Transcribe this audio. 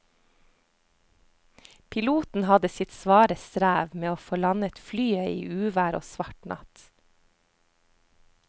Piloten hadde sitt svare strev med å få landet flyet i uvær og svart natt.